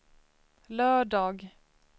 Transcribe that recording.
lördag